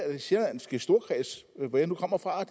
af den sjællandske storkreds hvor jeg nu kommer fra og